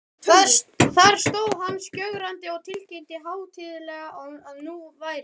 Þar stóð hann skjögrandi og tilkynnti hátíðlega, að nú væri